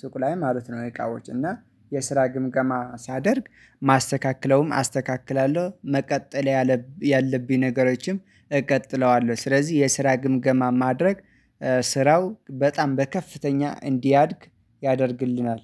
ሱቁ ላይ ማለት ነው የቃውጭ እና የስራ ግምገማ ሳደርግ ማስተካከለውም አስተካክላለሁ መቀጠል ያለብኝ ነገሮችም እቀጥለዋለሁ። ስለዚህ የስራ ግምገማ ማድረግ ስራው በጣም በከፍተኛ እንዲያድግ ያደርግልናል።